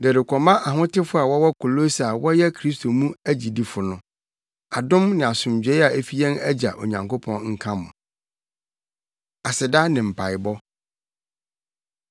De rekɔma ahotefo a wɔwɔ Kolose a wɔyɛ Kristo mu agyidifo no: Adom ne asomdwoe a efi yɛn Agya Onyankopɔn nka mo. Aseda Ne Mpaebɔ